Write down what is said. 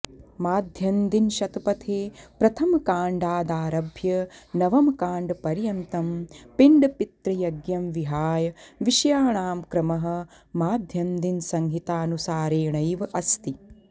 माध्यन्दिनशतपथे प्रथमकाण्डादारभ्य नवमकाण्डपर्यन्तं पिण्डपितृयज्ञं विहाय विषयाणां क्रमः माध्यन्दिनसंहितानुसारेणैव अस्ति